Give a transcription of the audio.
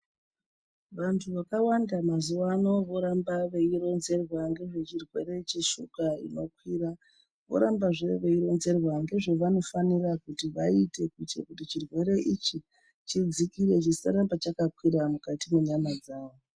Vantu vakawanda mazuva ano voramba veironzerwa ngezvechirwere cheshuga inokwira. Vorambazve veironzerwa ngezvavanofanira kuti vaite. Kuitire kuti chirwere ichi chidzikire chisaramba chakakwira mukati mwenyama dzavo.